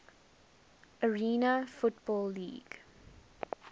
arena football league